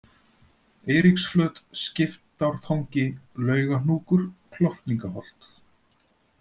Eiríksflöt, Skiptártangi, Laugahnúkur, Klofningaholt